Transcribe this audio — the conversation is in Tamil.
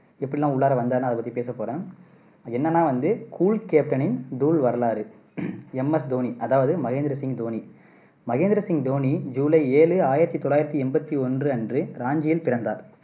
எப்படியெல்லாம் உள்ளார வந்தாருன்னு அதை பத்தி பேச போறேன் என்னன்னா வந்து cool captain னின் தூள் வரலாறு எம் எஸ் தோனி அதாவது மகேந்திர சிங் தோனி மகேந்திர சிங் தோனி ஜூலை ஏழு ஆயிரத்தி தொள்ளாயிரத்தி எண்பத்தி ஒன்று அன்று ராஞ்சியில் பிறந்தார்.